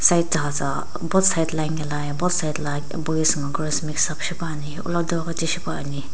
both side la anikela ye both side la boys ngo girls mixup shipuani hulakudau ghi tishi puani.